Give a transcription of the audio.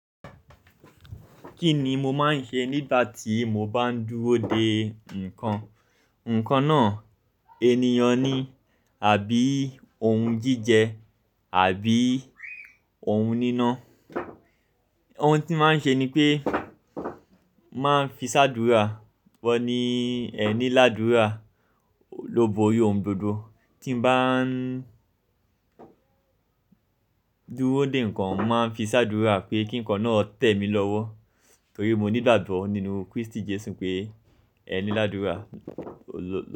Kí ni mo máa ń ṣe nígbà tí mo bá ń dúró de nǹkan, nǹkan náà ènìyàn ni àbí oun jíjẹ àbí oun níná. Oun tí màá ṣe ni pé màá fi sádúrarà wọ́ ní ẹni ládúrà ló bo ri oun gbogbo. Tí bà ń dúró de nǹkan, màá fi sá dúra pé kí nǹkan náà tẹ̀ mí lọ́wọ́ torí mo ní ìgbàgbọ́ nínú Kristi Jesu pé ẹni ládúrà ló.